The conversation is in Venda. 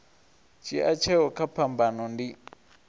dzhia tsheo kha phambano ndi